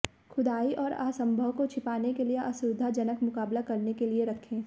खुदाई और असंभव को छिपाने के लिए असुविधाजनक मुकाबला करने के लिए रखें